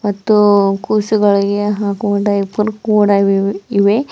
ಮತ್ತು ಕೂಸುಗಳಿಗೆ ಹಾಕುವ ಡೈಪರ್ ಕೂಡ ಇವ್ ಇವೆ.